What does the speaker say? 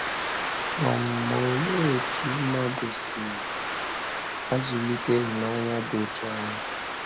um Ma olee otú mmadụ si azụlite ịhụnanya dị otú ahụ?